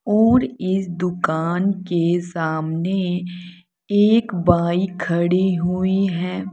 और इस दुकान के सामने एक बाइक खड़ी हुई है।